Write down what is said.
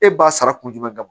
E b'a sara kun jumɛn kan